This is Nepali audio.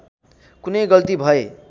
कुनै गल्ती भए